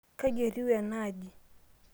kaji etiu ena aji?